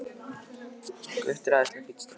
Gutti er æðislega fínn strákur.